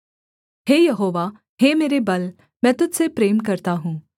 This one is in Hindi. हे यहोवा हे मेरे बल मैं तुझ से प्रेम करता हूँ